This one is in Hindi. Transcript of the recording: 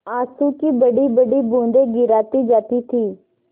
आँसू की बड़ीबड़ी बूँदें गिराती जाती थी